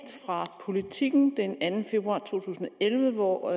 fra politiken den anden februar to tusind og elleve hvor